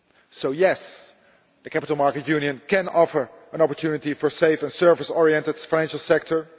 So yes, the capital markets union can offer an opportunity for a safer, service oriented financial sector.